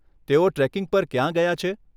તેઓ ટ્રેકિંગ પર ક્યાં ગયા છે?